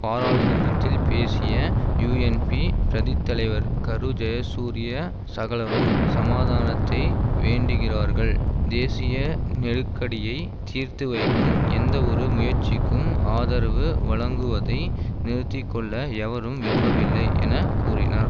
பாராளுமன்றத்தில் பேசிய யூஎன்பி பிரதித் தலைவர் கரு ஜயசூரிய சகலரும் சமாதானத்தை வேண்டுகின்றார்கள் தேசிய நெருக்கடியை தீர்த்து வைக்கும் எந்த ஒரு முயற்சிக்கும் ஆதரவு வழங்குவதை நிறுத்தி கொள்ள எவரும் விரும்பவில்லை என கூறினார்